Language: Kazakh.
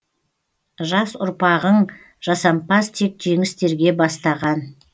жас ұрпағың жасампаз тек жеңістерге бастаған